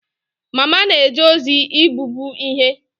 Mma na-eje ozi igbubi ihe